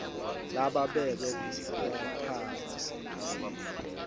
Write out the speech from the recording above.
lababekwe kutsi baphatse